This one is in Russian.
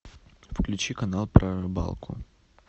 включи канал про рыбалку